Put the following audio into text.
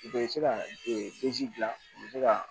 U bɛ se ka bila u bɛ se ka